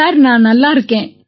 sir நான் நல்லா இருக்கேன்